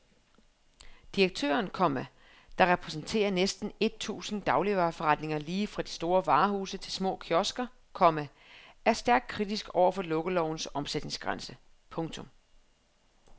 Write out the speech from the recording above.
Direktøren, komma der repræsenterer næsten et tusind dagligvareforretninger lige fra store varehuse til små kiosker, komma er stærkt kritisk over for lukkelovens omsætningsgrænse. punktum